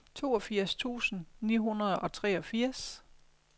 toogfirs tusind ni hundrede og treogfirs